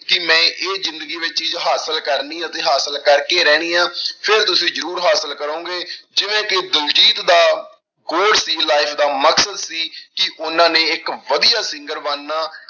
ਕਿ ਮੈਂ ਇਹ ਜ਼ਿੰਦਗੀ ਵਿੱਚ ਚੀਜ਼ ਹਾਸਿਲ ਕਰਨੀ ਅਤੇ ਹਾਸਿਲ ਕਰਕੇ ਰਹਿਣੀ ਆਂ ਫਿਰ ਤੁਸੀਂ ਜ਼ਰੂਰ ਹਾਸਿਲ ਕਰੋਂਗੇ, ਜਿਵੇਂ ਕਿ ਦਲਜੀਤ ਦਾ goal ਸੀ life ਦਾ ਮਕਸਦ ਸੀ ਕਿ ਉਹਨਾਂ ਨੇ ਇੱਕ ਵਧੀਆ singer ਬਣਨਾ।